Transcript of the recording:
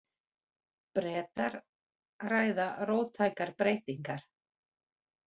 Bretar ræða róttækar breytingar